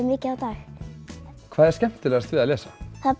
mikið á dag hvað er skemmtilegast við að lesa